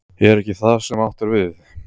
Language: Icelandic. Er ekki það sem átt er við?